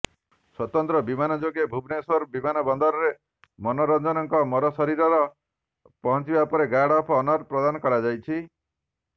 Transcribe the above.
ସ୍ୱତନ୍ତ୍ର ବିମାନ ଯୋଗେ ଭୁବନେଶ୍ୱର ବିମାନବନ୍ଦରରେ ମନୋରଞ୍ଜନଙ୍କ ମରଶରୀର ପହଞ୍ଚିବା ପରେ ଗାର୍ଡ ଅଫ ଅନର ପ୍ରଦାନ କରାଯାଇଛି